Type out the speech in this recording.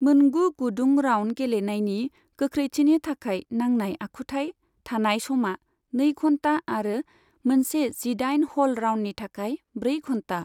मोनगु गुदुं राउन्ड गेलेनायनि गोख्रैथिनि थाखाय नांनाय आखुथाय थानाय समा नै घन्टा आरो मोनसे जिदाइन हल राउन्डनि थाखाय ब्रै घन्टा।